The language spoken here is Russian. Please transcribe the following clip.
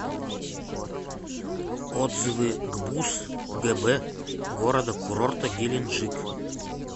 отзывы гбуз гб города курорта геленджик